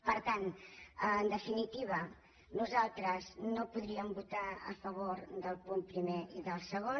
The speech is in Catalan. per tant en definitiva nosaltres no podríem votar a favor del punt primer ni del segon